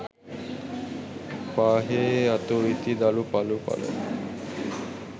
පාහේ අතු ඉති දළු පලු පල